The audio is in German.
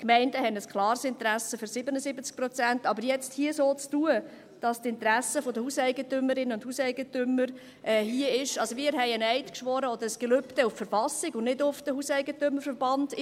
Die Gemeinden haben ein klares Interesse an 77 Prozent, aber jetzt hier so zu tun, als ob die Interessen der Hauseigentümerinnen und Hauseigentümer hier sind … Wir haben einen Eid oder ein Gelübde auf die Verfassung geschworen, und nicht auf den Hauseigentümerverband (HEV).